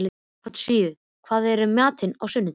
Konstantínus, hvað er í matinn á sunnudaginn?